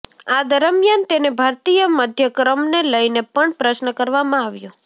આ દરમિયાન તેને ભારતીય મધ્યક્રમને લઇને પણ પ્રશ્ન કરવામાં આવ્યો